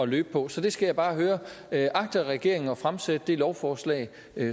løbe på så jeg skal bare høre agter regeringen at fremsætte det lovforslag